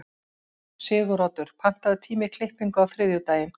Siguroddur, pantaðu tíma í klippingu á þriðjudaginn.